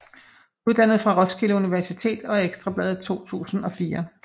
Uddannet fra Roskilde Universitet og Ekstra Bladet 2004